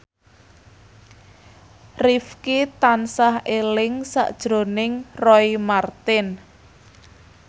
Rifqi tansah eling sakjroning Roy Marten